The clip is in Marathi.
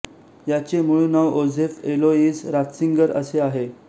याचे मूळ नाव योझेफ एलोइस रात्सिंगर असे आहे